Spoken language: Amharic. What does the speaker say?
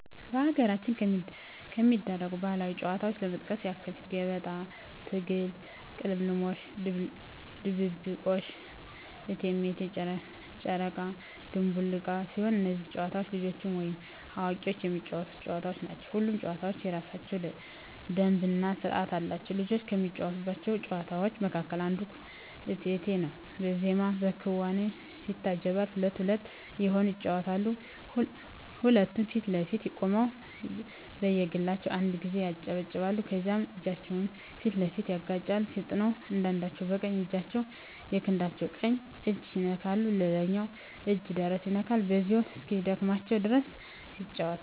በሀገራችን ከሚደረጉ ባህላዊ ጨዋታዎች ለመጥቀስ ያክል ገበጣ፣ ትግል፣ ቅልምልሞሽ፣ ድብብቆሽ፣ እቴሜቴ፣ ጨረቃ ድንቡል ዕቃ ሲሆኑ እነዚህ ጨዋታዎች ልጆችም ወይም አዋቂዎች የሚጫወቱት ጨዋታዎች ናቸው። ሁሉም ጨዋታ የየራሳቸው ደንብ እና ስርዓት አላቸው። ልጆች ከሚጫወቷቸው ጨዋታዎች መካከል አንዱ እቴሜቴ ነው በዜማና በክዋኔ ይታጀባል ሁለት ሁለት እየሆኑ ይጫወቱታል ሁለቱም ፊት ለፊት ቆመው በየግላቸው አንድ ጊዜ ያጨበጭባሉ ከዛም እጃቸውን ፊት ለፊት ያጋጫሉ ፈጥነው አንዳቸው በቀኝ እጃቸው የክንዳቸው ቀኝ እጅ ይነካል ሌላኛው እጅ ደረት ይነካል በዚሁ እስኪደክማቸው ድረስ ይጫወታሉ።